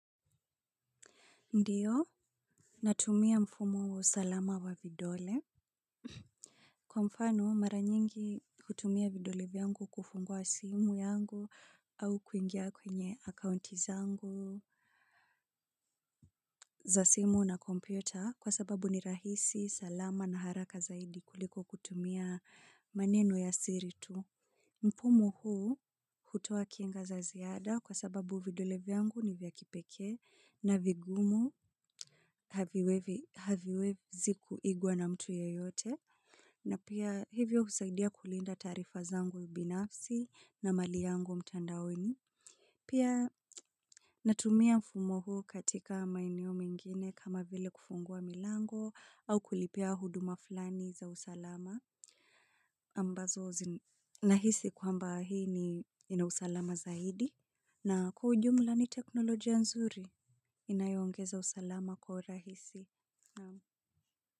Ndiyo, natumia mfumo wa usalama wa vidole. Kwa mfano, mara nyingi hutumia vidole vyangu kufungua simu yangu au kuingia kwenye akaunti zangu za simu na kompyota kwa sababu ni rahisi, salama na haraka zaidi kuliko kutumia maneno ya siri tu. Mfumonhuu hutoa kinga za ziada kwa sababu vidole vyangu ni vya kipekee na vigumu haviwezi kuigwa na mtu yeyote. Na pia hivyo husaidia kulinda taarifa zangu ubinafsi na mali yangu mtandaoni. Pia natumia mfumo huu katika maeneo mengine kama vile kufungua milango au kulipia huduma fulani za usalama. Ambazo zi nahisi kwamba hii ni ina usalama zaidi. Na kwa ujumla ni teknolojia nzuri. Inayoongeza usalama kwa urahisi.